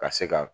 Ka se ka